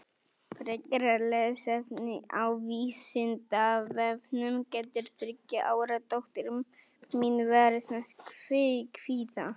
Frekara lesefni á Vísindavefnum Getur þriggja ára dóttir mín verið með kvíða?